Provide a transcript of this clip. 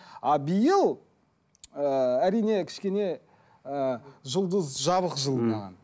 а биыл ыыы әрине кішкене ыыы жұлдыз жабық жыл маған